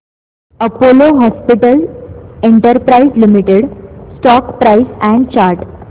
Apollo hospitals enterprise limited stock price and chart